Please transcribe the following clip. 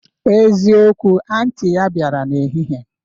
Ezikowu, anti ya bịara n'ehihie